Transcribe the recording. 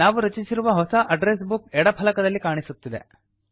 ನಾವು ರಚಿಸಿರುವ ಹೊಸ ಅಡ್ಡ್ರೆಸ್ ಬುಕ್ ಎಡ ಫಲಕದಲ್ಲಿ ಕಾಣಿಸುತ್ತಿದೆ